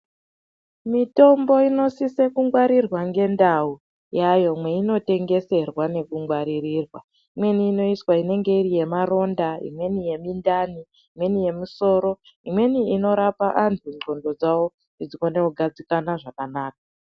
Mutombo inosisa kungwarirwa ngendau yayo meinotengerwa neku nekungwaririrwa imweni inoiswa inenge iri yemaronda imweni yemundani imweni yemusoro imweni inorapa vandu nglondo dzavo kuti dzione kugadzikana.